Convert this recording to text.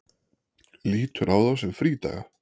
Lítur á þá sem frídaga.